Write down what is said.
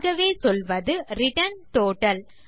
ஆகவே சொல்வது return total